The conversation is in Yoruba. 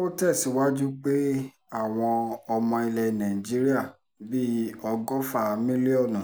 ó tẹ̀síwájú pé àwọn ọmọ ilẹ̀ nàìjíríà bíi ọgọ́fà mílíọ̀nù